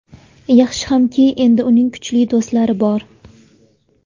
Yaxshi hamki, endi uning kuchli do‘stlari bor.